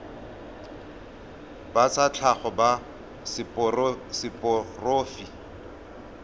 ba tsa tlhago ba seporofe